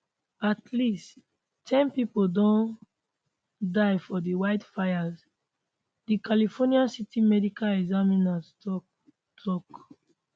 at least ten pipo don die for di wildfires di california city medical examiner tok tok